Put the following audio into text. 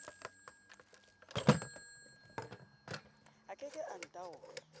a ke ke a ntaola